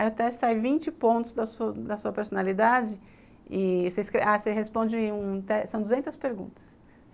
Aí o teste sai vinte pontos da da sua personalidade e você responde, são duzentas perguntas.